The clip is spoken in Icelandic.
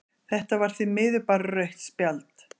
Þetta var því miður bara rautt spjald.